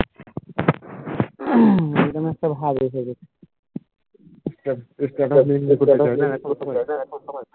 উম সেই জিনিসটা ভালো ভাবে এসে গেছে